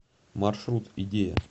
маршрут идея